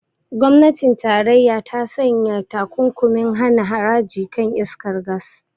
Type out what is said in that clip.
Gwamnatin tarayya ta sanya takunkumin hana haraji kan iskar gas.